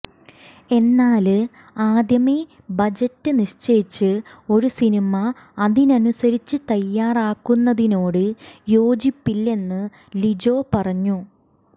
എന്നാല് ആദ്യമേ ബജറ്റ് നിശ്ചയിച്ച് ഒരു സിനിമ അതിനനുസരിച്ച് തയാറാക്കുന്നതിനോട് യോജിപ്പില്ലെന്ന് ലിജോ പറഞ്ഞു